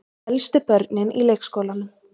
Elstu börnin í leikskólanum.